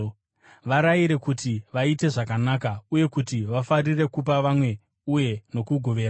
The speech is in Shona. Varayire kuti vaite zvakanaka, uye kuti vafarire kupa vamwe uye nokugoverana.